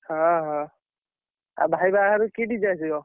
ହଁ ହଁ ଆଉ, ଭାଇ ବାହାଘରକୁ କି DJ ଆସିବ?